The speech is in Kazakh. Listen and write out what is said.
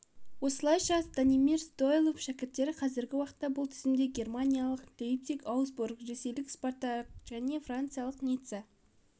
осылайша станимир стойлов шәкірттері қазіргі уақытта бұл тізімде германиялық лейпциг аусбург ресейлік спартак және франциялық ницца